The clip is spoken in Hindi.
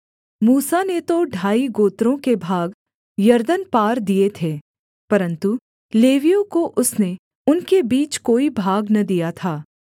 मूसा ने तो ढाई गोत्रों के भाग यरदन पार दिए थे परन्तु लेवियों को उसने उनके बीच कोई भाग न दिया था